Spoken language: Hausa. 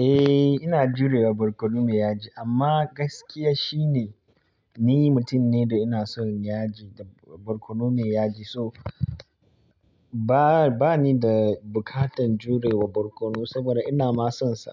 Eh, ina jurewa barkono me yaji amma gaskiya shine ni mutum ne da ina son yaji da barkono me yaji so. Ba, ba ni da bukatan jurewa barkono saboda ina ma sonsa.